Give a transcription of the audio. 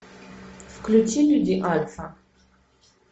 включи люди альфа